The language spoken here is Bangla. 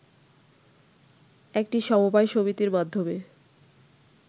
একটি সমবায় সমিতির মাধ্যমে